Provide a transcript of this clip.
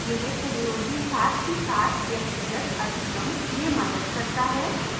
यह सहयोगी साथ ही साथ व्यक्तिगत अधिगम में मदद करता है